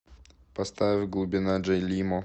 поставь глубина джей лимо